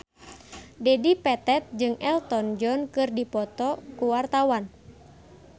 Dedi Petet jeung Elton John keur dipoto ku wartawan